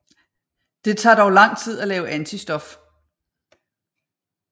Det tager dog lang tid at lave antistof